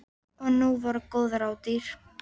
Og nú voru góð ráð dýr.